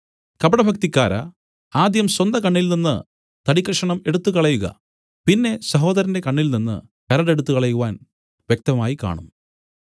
കപടഭക്തിക്കാരാ ആദ്യം സ്വന്തകണ്ണിൽ നിന്ന് തടിക്കഷണം എടുത്തുകളയുക പിന്നെ സഹോദരന്റെ കണ്ണിൽ നിന്ന് കരട് എടുത്തുകളയുവാൻ വ്യക്തമായി കാണും